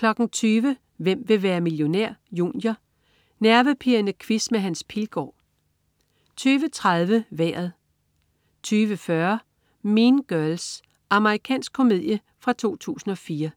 20.00 Hvem vil være millionær? Junior. Nervepirrende quiz med Hans Pilgaard 20.30 Vejret 20.40 Mean Girls. Amerikansk komedie fra 2004